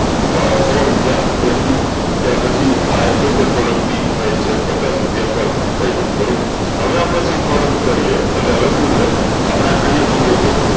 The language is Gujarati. આ સૌ રુપયા ત્યાર પછી આ x y z xyz product ની price છે પચ્ચાસ રુપયા per item બરોબર હવે આપળે sum product કરીએ અને શું મળે આપળે અયીયા જોયીયે કે